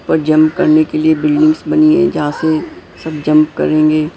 पर जंप करने के लिए बिल्डिंग्स बनी है जहां से सब जंप करेंगे।